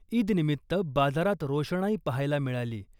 ईद निमित्त बाजारात रोषणाई पाहायला मिळाली .